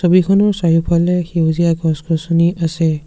ছবিখনৰ চাৰিওফালে সেউজীয়া গছ গছনি আছে।